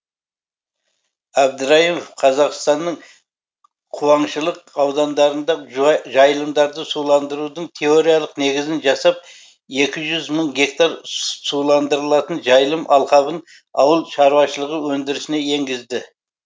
әбдірайымов қазақстанның қуаңшылық аудандарында жайылымдарды суландырудың теориялық негізін жасап екі мың гектар суландырылатын жайылым алқабын ауыл шаруашылығы өндірісіне енгізді